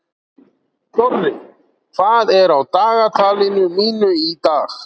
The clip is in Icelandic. Dorri, hvað er á dagatalinu mínu í dag?